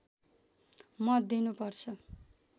मत दिनु पर्छ